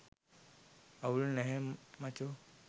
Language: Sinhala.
අවුලක් නැහැ මචෝ